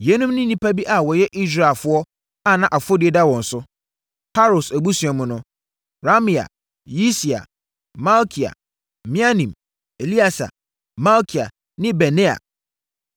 Yeinom ne nnipa bi a wɔyɛ Israelfoɔ a na afɔdie da wɔn so: Paros abusua mu no: Ramia, Yisia, Malkia, Miamin, Eleasa, Malkia ne Benaia.